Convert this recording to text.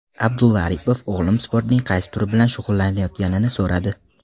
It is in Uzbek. Abdulla Aripov o‘g‘lim sportning qaysi turi bilan shug‘ullanayotganini so‘radi.